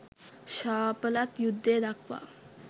ශාපලත් යුද්ධය දක්වා